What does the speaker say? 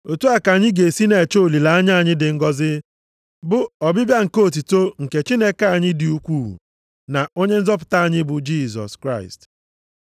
Otu a ka anyị ga-esi na-eche olileanya anyị dị ngọzị bụ ọbịbịa nke otuto nke Chineke anyị dị ukwuu, na Onye nzọpụta anyị bụ Jisọs Kraịst.